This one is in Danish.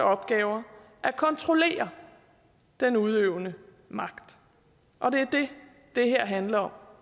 opgaver at kontrollere den udøvende magt og det er det det her handler om